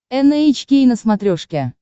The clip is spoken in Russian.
эн эйч кей на смотрешке